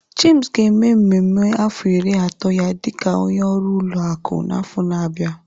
James ga-eme mmemme afọ iri ato ya dị ka onye ọrụ ụlọ akụ n'afọ na-abịa.